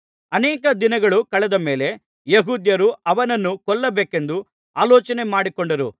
ಅನೇಕ ದಿನಗಳು ಕಳೆದ ಮೇಲೆ ಯೆಹೂದ್ಯರು ಅವನನ್ನು ಕೊಲ್ಲಬೇಕೆಂದು ಆಲೋಚನೆ ಮಾಡಿಕೊಂಡರು